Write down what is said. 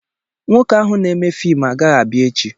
Nwoke ahụ na-eme fiimu agaghị abịa echi.